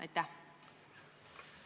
Aitäh!